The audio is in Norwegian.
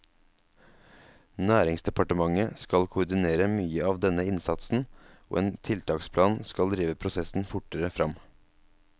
Næringsdepartementet skal koordinere mye av denne innsatsen, og en tiltaksplan skal drive prosessen fortere frem.